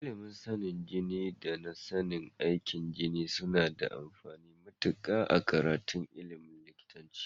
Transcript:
Ilimin sanin jiki da na sanin aikin jiki suna da amfani matuƙa a karatun ilimin likitanci.